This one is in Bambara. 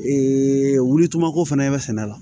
wuli tuma ko fana i bɛ sɛnɛ la